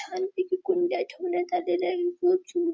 छान पैकी कुंड्या ठेवण्यात आलेल्या आहे खूप सुं --